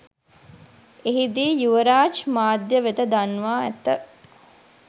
එහිදී යුවරාජ් මාධ්‍ය වෙත දන්වා ඇත